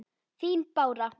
Þín, Bára.